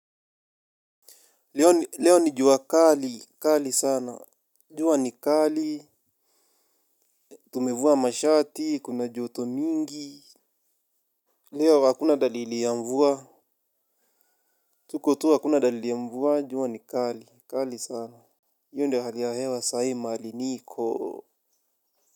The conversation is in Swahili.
Leo ni jua kali. Kali sana. Jua ni kali. Tumevuwa mashati. Kuna joto mingi. Leo hakuna dalili ya mvua. Tuko tu hakuna dalili ya mvua. Juwa ni kali. Kali sana. Hiyo ndio hali ya hewa saa hii mahali niko.